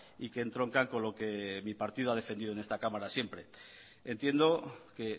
y que entronca con lo que mi partido ha defendido en esta cámara siempre entiendo que